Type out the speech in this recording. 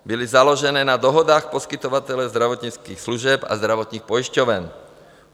Byly založené na dohodách poskytovatelů zdravotnických služeb a zdravotních pojišťoven.